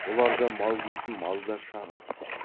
бұларда мал дейтін мал да шағын